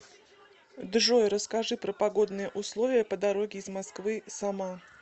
джой расскажи про погодные условия по дороге из москвы сама